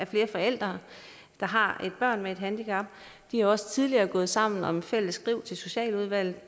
flere forældre der har børn med handicap de er også tidligere gået sammen om en fælles skrivelse til socialudvalget